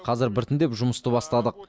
қазір біртіндеп жұмысты бастадық